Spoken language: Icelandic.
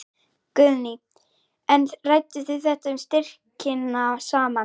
Guðný: En rædduð þið um styrkina saman?